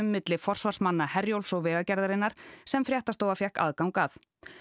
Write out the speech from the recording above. milli forsvarsmanna Herjólfs og Vegagerðarinnar sem fréttastofa fékk aðgang að